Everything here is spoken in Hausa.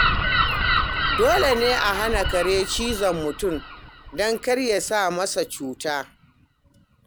Dole ne a hana kare cizon mutane, don kar ya sa musu cuta.